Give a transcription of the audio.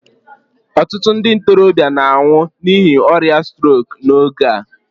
ọtụtụ ndị ntorobịa na-anwụ n'ihi ọrịa strok n'oge a